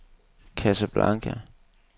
Casablanca